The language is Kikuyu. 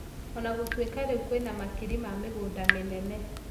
O na gũtuĩka rĩu kũrĩ na makiri ma mĩgũnda mĩnene,